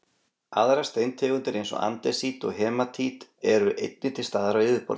Aðrar steintegundir eins og andesít og hematít eru einnig til staðar á yfirborðinu.